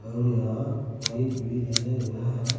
और यहां पाइप भी लगे हुए हैं।